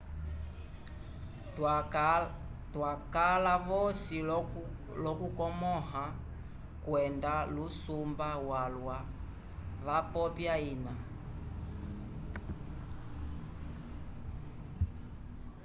twakala vosi l'okukomõha kwenda lusumba walwa wapopya ina